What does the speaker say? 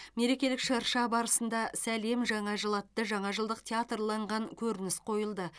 мерекелік шырша барысында сәлем жаңа жыл атты жаңажылдық театрланған көрініс қойылды